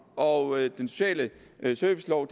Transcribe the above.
og den sociale servicelov